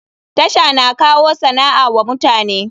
TASHA na kawo sana'a wa mutane.